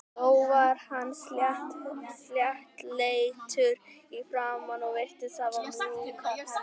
Þó var hann sléttleitur í framan og virtist hafa mjúkar hendur.